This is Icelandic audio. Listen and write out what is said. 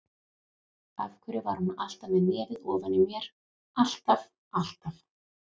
Af hverju var hún alltaf með nefið ofan í mér, alltaf, alltaf.